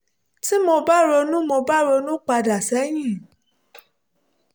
tí mo bá ronú mo bá ronú pa dà sẹ́yìn